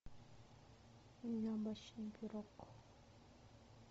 яблочный пирог